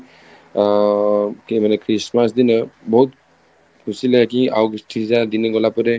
ଆଂ କି ମାନେ Christmas ଦିନ ବହୁତ ଖୁସି ଲାଗେ କି ଆଉ କିଛିଟା ଦିନ ଗଲା ପରେ